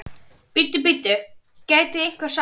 Bíddu, bíddu, gæti einhver sagt.